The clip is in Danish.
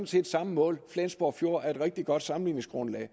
set samme mål flensborg fjord er et rigtig godt sammenligningsgrundlag